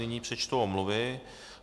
Nyní přečtu omluvy.